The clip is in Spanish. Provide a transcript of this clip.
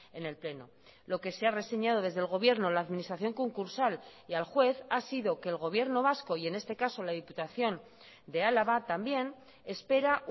en el pleno lo que se ha reseñado desde el gobierno la administración concursal y al juez ha sido que el gobierno vasco y en este caso la diputación de álava también espera